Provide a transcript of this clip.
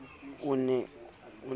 o ne a dutse ka